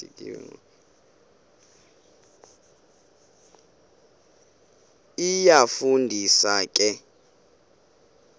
iyafu ndisa ke